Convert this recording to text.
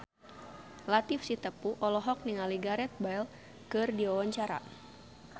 Latief Sitepu olohok ningali Gareth Bale keur diwawancara